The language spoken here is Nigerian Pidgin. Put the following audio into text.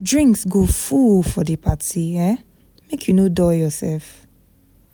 Drinks go full for di party, um make you no dull yoursef.